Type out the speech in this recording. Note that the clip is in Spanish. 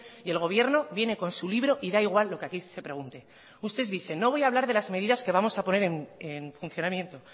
y el gobierno viene con su libro y da igual lo que aquí se pregunte ustedes dicen no voy a hablar de las medidas que vamos a poner en funcionamiento